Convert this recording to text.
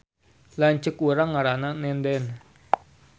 Lanceuk urang ngaranna Nenden